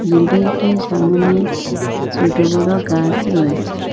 Building -টির সামোনে ছোট বড় গাছ রয়েছে।